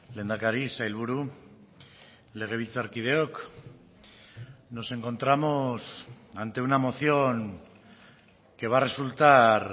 lehendakari sailburu legebiltzarkideok nos encontramos ante una moción que va a resultar